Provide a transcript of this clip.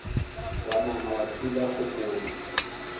wa nama wa thula kgopolo